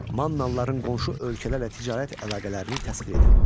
Mannalıların qonşu ölkələrlə ticarət əlaqələrini təsvir edin.